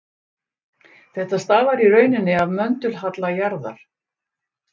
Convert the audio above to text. þetta stafar í rauninni af möndulhalla jarðar